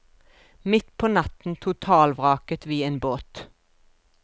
Midt på natten totalvraket vi en båt.